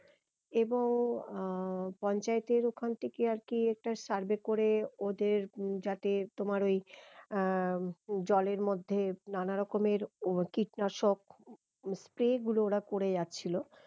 এবং আহ পঞ্চায়েতের ওখান থেকে আর কি একটা survey করে ওদের যাতে তোমার ওই আহ জলের মধ্যে নানা রকমের কীটনাশক spray গুলো ওরা করে যাচ্ছিলো